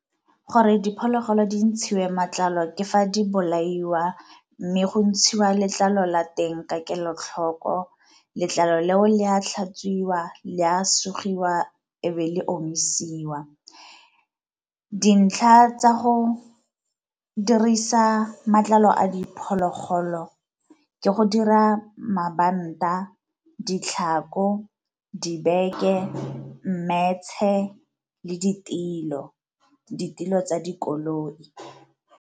Gore diphologolo di ntshiwe matlalo ke fa di bolaiwa, mme go ntshiwa letlalo la teng ka kelotlhoko. Letlalo leo le a tlhatswiwa, le a sugiwa e be le omisiwa. Dintlha tsa go dirisa matlalo a diphologolo ke go dira mabanta, ditlhako, dibeke, mmetshe, le ditilo, ditilo tsa dikoloi.